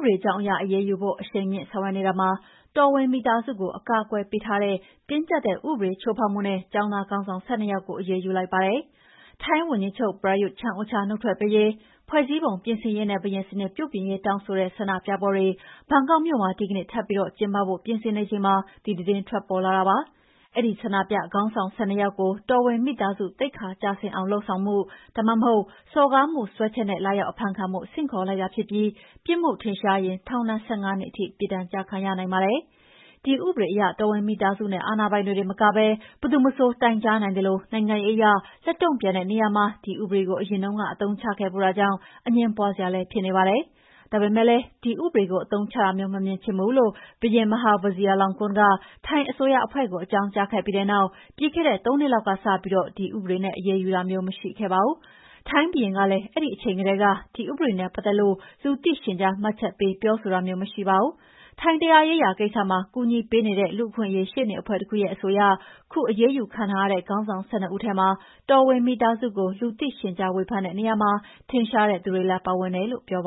ပဒေကြောင်းအရ အရေးယူဖို့ အရှိန်မြှင့်ဆောင်ရွက်နေတာမှာ တော်ဝင်မိသားစုကို အကာအကွယ်ပေးထားတဲ့ တင်းကြပ်တဲ့ဥပဒေကို ချိုးဖောက်မှုနဲ့ ကျောင်းသားခေါင်းဆောင် ၁၂ ယောက်ကို အရေးယူလိုက်ပါတယ်။ ထိုင်းဝန်ကြီးချုပ် ပရာယုသ် ချန်အိုချာနုတ်ထွက်ပေးရေး၊ ဖွဲ့စည်းပုံပြင်ဆင်ရေးနဲ့ ဘုရင်စနစ်ပြုပြင်ရေး တောင်းဆိုတဲ့ ဆန္ဒပြပွဲတွေ ဘန်ကောက်မြို့မှာ ဒီကနေ့ထပ်ပြီး ကျင်းပဖို့ပြင်ဆင်နေချိန်မှာ ဒီသတင်းထွက်ပေါ်လာတာပါ။ အဲဒီဆန္ဒပြခေါင်းဆောင် ၁၂ ယောက်ကို တော်ဝင်မိသားစု သိက္ခာကျဆင်းအောင်လုပ်ဆောင်မှု ဒါမှမဟုတ် စော်ကားမှုစွဲချက် နဲ့ လာရောက်အဖမ်းခံဖို့ ဆင့်ခေါ်လိုက်တာဖြစ်ပြီး ပြစ်မှုထင်ရှားရင် ထောင်ဒဏ် ၁၅ နှစ်ထိ ပြစ်ဒဏ် ကျခံရနိုင်ပါတယ်။ ဒီ ဥပဒေအရ တော်ဝင်မိသားစုနဲ့ အာဏာပိုင်တွေတင်မကဘဲ ဘယ်သူမဆို တိုင်ကြားနိုင်သလို နိုင်ငံရေးအရ လက်တုံ့ပြန်တဲ့နေရာမှာ ဒီဥပဒေကို အရင်တုန်းက အသုံးချခဲ့ဖူးတာကြောင့် အငြင်းပွါးစရာလည်းဖြစ်နေပါ။ ဒါပေမဲ့လည်း ဒီဥပဒေကို အသုံးချတာမျိုး မမြင်ချင်ဘူးလို့ ဘုရင် Maha Vajiralongkorn က ထိုင်းအစိုးရအဖွဲ့ ကို အကြောင်းကြားခဲ့ပြီးတဲ့နောက် ပြီးခဲ့တဲ့ ၃ နှစ်လောက်ကစပြီး ဒီဥပဒေနဲ့ အရေးယူတာမျိုး မရှိခဲ့ပါဘူး။ ထိုင်းဘုရင်ကလည်း အဲဒီအချိန်ကတည်းက ဒီဥပဒေနဲ့ ပတ်သက်လို့ လူသိရှင်ကြားမှတ်ချက်ပေးပြောဆိုတာမျိုး မရှိပါဘူး။ ထိုင်းတရားရေးရာကိစ္စမှာ ကူညီပေးနေတဲ့ လူ့အခွင့်အရေးရှေ့နေအဖွဲ့ တခုရဲ့အဆိုအရ ခုအရေးယူခံထားရတဲ့ခေါင်းဆောင် ၁၂ ဦးထဲမှာ တော်ဝင်မိသားစုကို လူသိရှင်ကြားဝေဖန်တဲ့နေရာမှာ ထင်ရှားတဲ့သူတွေလည်း ပါဝင်တယ်လို့ဆိုပါ